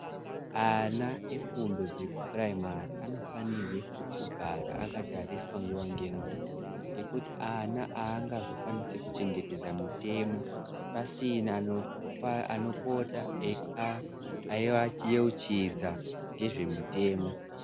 Ana efundo dzokuporaimairi anofana kugara akatariswa akatariswa nguwa ngenguwa ngekuti ana angazokwanisi kuchengetedza mitemo pasina anopota eivayeuchidza nezvemutemo.